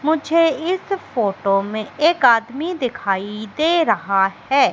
मुझे इस फोटो में एक आदमी दिखाई दे रहा है।